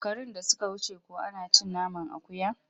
Shekarun da suka wuce kuwa ana cin naman akuya?